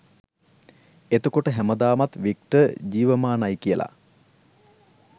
එතකොට හැමදාමත් වික්ටර් ජීවමානයි කියලා